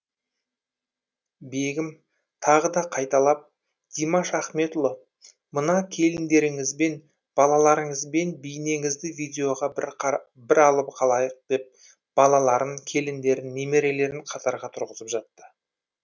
бегім тағы да қайталап димаш ахметұлы мына келіндеріңізбен балаларыңызбен бейнеңізді видеоға бір алып қалайық деп балаларын келіндерін немерелерін қатарға тұрғызып жатты